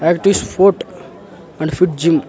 Active sport and fit gym .